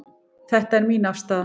Þetta er mín afstaða.